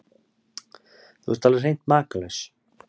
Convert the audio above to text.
Þú ert alveg hreint makalaus!